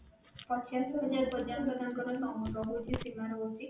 ପଚାଶ ହଜାର ପର୍ଯ୍ୟନ୍ତ ତାଙ୍କର ରହୁଛି ସୀମା ରହୁଛି